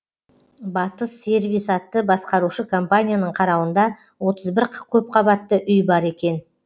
батыс сервис атты басқарушы компанияның қарауында отыз бір көпқабатты үй бар екен